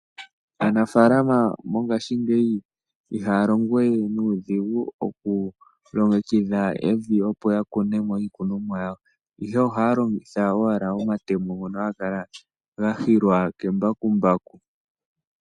Aanafaalama mongaashingeyi ihaya longo we nuudhigu oku longekidha evi opo ya kunemo iikunomwa yawo, ihe ohaya longitha owala omatemo ngono haga kala ga hilwa ke mbakumbaku.